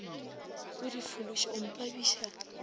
o di fološe o mpabiša